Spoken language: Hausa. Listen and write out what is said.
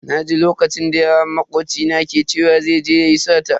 Naji lokacin da yaron makoci na ke cewa zai je yayi sata.